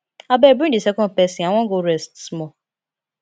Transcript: abeg bring the second person i wan go rest small